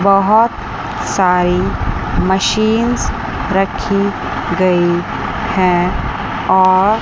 बहुत सारी मशीन्स रखी गई हैं और--